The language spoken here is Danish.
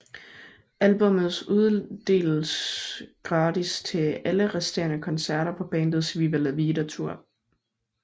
Albummet uddeles gratis til alle resterende koncerter på bandets Viva la Vida Tour